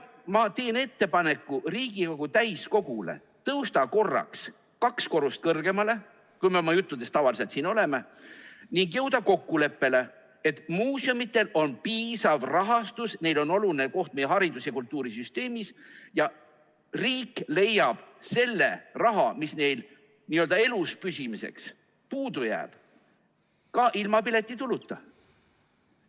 Ma teen ettepaneku Riigikogu täiskogule tõusta korraks kaks korrust kõrgemale, kui me oma juttudes tavaliselt siin oleme, ning jõuda kokkuleppele, et muuseumidel on piisav rahastus, neil on oluline koht meie haridus- ja kultuurisüsteemis ja riik leiab selle raha, mis neil eluspüsimiseks puudu jääb, ka ilma piletituluta.